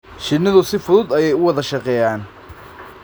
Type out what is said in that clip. Shinidu si fudud ayay u wada shaqeeyaan.